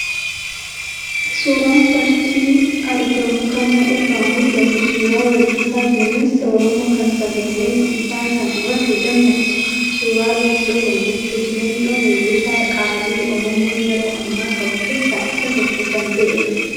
Suuraan fakii argamu kana irraa mul'atu suuraa weellisaa gameessa Oromoo kan sagaleen isaa kan rafe dammaksu, suuraa Leencoo Gammachuuti, Leencoon weellisaa qaalii Oromoon yeroo ammaa qabu keessaa isa tokko kan ta'edha.